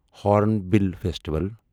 hornbill festival